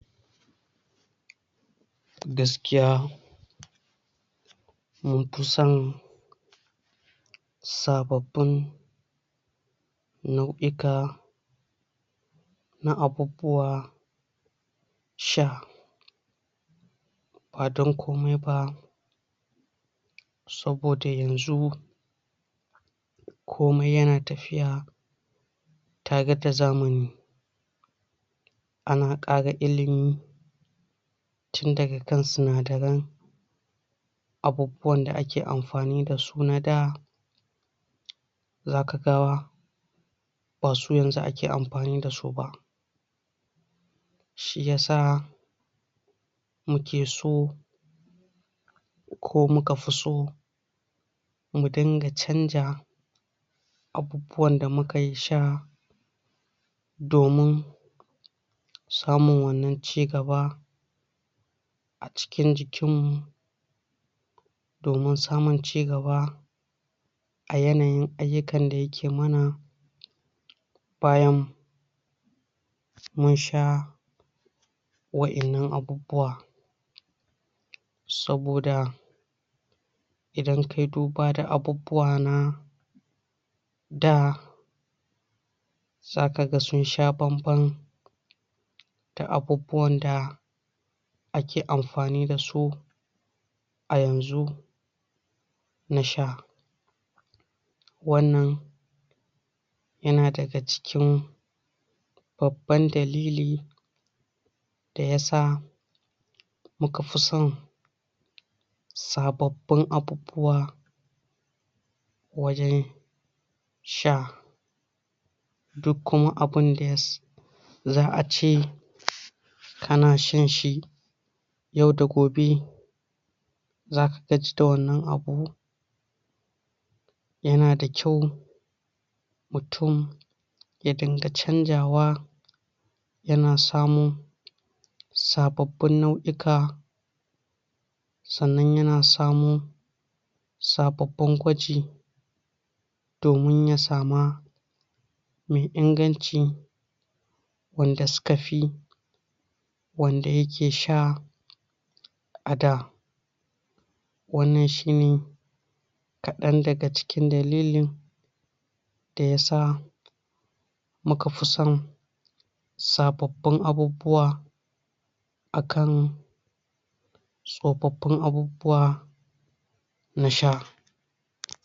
Gaskiya mun fi son sababbin nau'ika na abubuwa sha, ba dan komai ba, saboda yanxu, komai yana tafiya tare da zamani. Ana kara ilimi tun daga kan sinadaran abubuwan da ake amfani dasu na da, zaka ga basu yanxu ake amfani dasu ba, shiyasa mukeso, ko mukafi so mu dinga chanza abubuwan da muke sha domin samun wannan chigaba a cikin jikinmu domin samun chigaba a yanayin ayyukan da yake mana bayan mun sha wa'ennan abubuwa, saboda idan kayi duba da abubuwa na da, zaka ga sun sha bam bam da abubuwan da ake amfani dasu ayanxu na sha. Wannan yana daga cikin babban dalili da yasa muka fi son sababbin abubuwa wajen sha, dukku ma abunda za'ace kana shan shi yau da gobe za ka gaji da wannan abun, ya na da kyau mutum ya dunga chanxawa, yana samun sababbin nau'ika, sannan yana samun sababbin gwaji domin ya sa ma me inganci wanda sukafi wanda yake sha a da. Wannan shine kadan daga cikin dalilin da yasa mukafi son sababbin abubuwa akan tsofaffin abubuwa na sha.